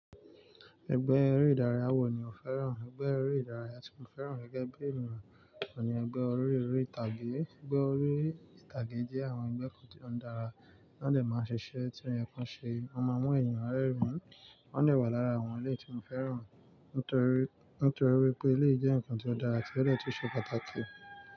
Ẹgbẹ́ eré ìdárayá wo ni ó fẹ́ràn? Ẹgbẹ́ eré ìdárayá tí mo fẹ́ràn gẹ́gẹ́ bí ènìyàn ni ẹgbẹ́ orílè-èré ìtàgé. Ẹgbẹ́ orí-ìtàgé jẹ́ àwọn ẹgbẹ́ kòn tíì tó dára, won de máa ń ṣiṣẹ́ tí oye kan ṣe, wọ́n máa mọu ènìyàn rerìn-ín. Wọ́n de wọa lára àwọn eléyi tí mo fẹ́ràn, nítorí, nítorí wipé eleyi je nǹkan tí ó dára ti o de tun ṣe pàtàkì.